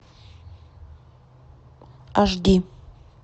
аш ди